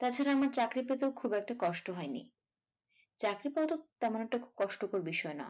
তাছাড়া আমার চাকরি পেতেও খুব একটা কষ্ট হয়নি চাকরি পাওয়া তো তেমন একটা কষ্টকর বিষয় না